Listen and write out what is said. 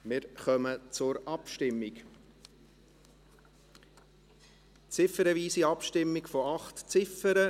Wir kommen zur Abstimmung, ziffernweise Abstimmung bei 8 Ziffern.